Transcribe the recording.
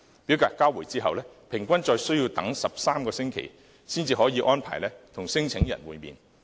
表格交回後，平均再需要等13個星期，才可以安排與聲請申請人會面。